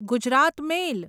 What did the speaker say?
Gujarat મેલ